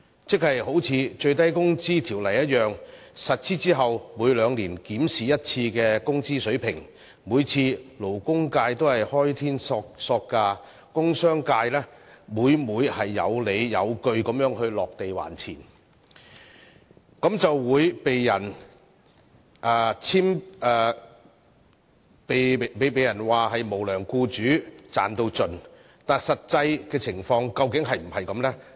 一如《最低工資條例》的情況，在實施後每兩年一次的工資水平檢討中，勞工界都"開天索價"，而工商界每每有理有據地"落地還錢"，卻被人指責為"無良僱主"、"賺到盡"，但實際情況究竟是否這樣呢？